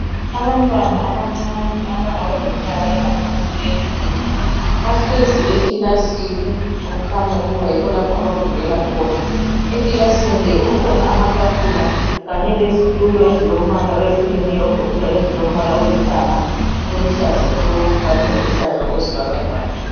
Abantwana abancane abangaba leminyaka engaphansi kweyetshumi, bahlezi ekilasini okukhanya ukuba yikho lapho abafundelakhona. Ekilasini le kukhona amatafula kanye lezitulo ezilombala oyehlukeneyo ogoqela ezilolithanga, oluhlaza tshoko kanye loluhlaza okwesibhakabhaka.